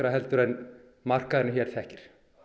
en markaðurinn hér þekkir